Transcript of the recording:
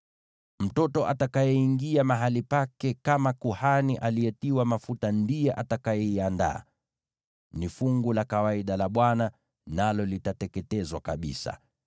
Mwanawe atakayeingia mahali pake kama kuhani aliyetiwa mafuta ndiye atakayeiandaa. Ni fungu la kawaida la Bwana , nalo litateketezwa kabisa.